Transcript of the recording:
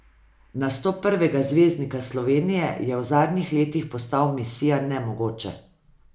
Nastop prvega zvezdnika Slovenije je v zadnjih letih postal misija nemogoče.